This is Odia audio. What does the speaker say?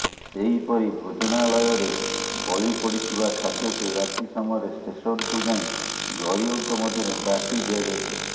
ସେହିପରି ଭୋଜନାଳୟରେ ବଳି ପଡିଥିବା ଖାଦ୍ୟକୁ ରାତି ସମୟରେ ଷ୍ଟେସନକୁ ଯାଇ ଗରିବଙ୍କ ମଧ୍ୟରେ ବାଂଟି ଦିଆଯାଇଥାଏ